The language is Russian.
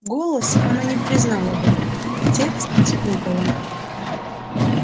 голос она не признала бы а текст спутала